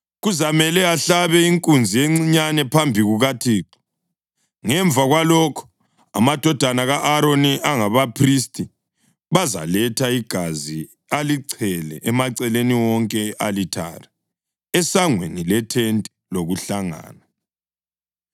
Kuzamele ahlabe inkunzi encinyane phambi kukaThixo, ngemva kwalokho, amadodana ka-Aroni, abangabaphristi, bazaletha igazi alichele emaceleni wonke e-alithare esangweni lethente lokuhlangana.